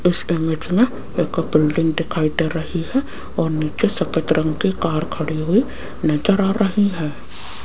इस इमेज में एक बिल्डिंग दिखाई दे रही है और नीचे सफेद रंग की कार खड़ी हुई नजर आ रही है।